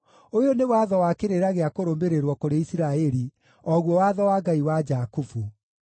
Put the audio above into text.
ũyũ nĩ watho wa kĩrĩra gĩa kũrũmĩrĩrwo kũrĩ Isiraeli, o guo watho wa Ngai wa Jakubu.